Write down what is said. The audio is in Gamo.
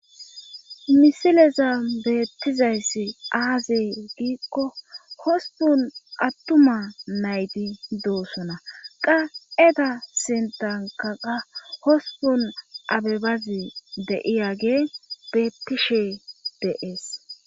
Misileza beettizayssi aaze giikko hospun attuma nayti doosona qa eda sintankaqa hospun abebazi deiyage beettishe deees.